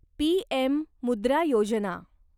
PM Mudra Yojana